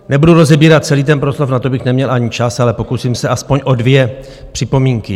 Nebudu rozebírat celý ten proslov, na to bych neměl ani čas, ale pokusím se aspoň o dvě připomínky.